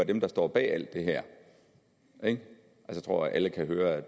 dem der står bag det her jeg tror at alle kan høre